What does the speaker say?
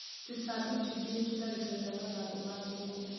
Tũtambi tũingĩ nĩ tũtharĩkagĩra mathangũ ma thũkũma.